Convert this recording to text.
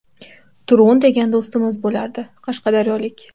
Turg‘un degan bir do‘stimiz bo‘lardi, qashqadaryolik.